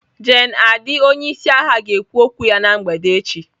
Gen Adi onye isi agha ga-ekwu okwu ya na mgbede echi.